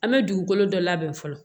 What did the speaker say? An bɛ dugukolo dɔ labɛn fɔlɔ